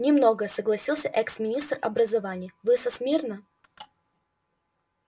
не много согласился экс-министр образования вы со смирно